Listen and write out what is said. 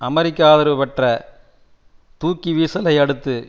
அமெரிக்க ஆதரவு பெற்ற தூக்கி வீசலை அடுத்து